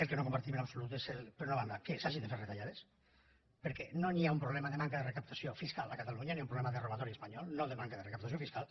el que no compartim en absolut és per una banda que s’hagin de fer retallades perquè no hi ha un problema de manca de recaptació fiscal a catalunya hi ha un problema de robatori espanyol no de manca de recaptació fiscal